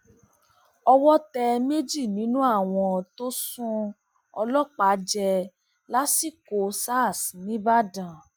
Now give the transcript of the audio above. owó tẹ méjì nínú àwọn tó àwọn tó sún ọlọpàá jẹ lásìkò sars níìbàdàn